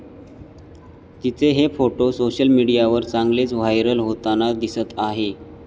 तिचे हे photo social मीडियावर चांगलेच व्हायरल होताना दिसत आहे.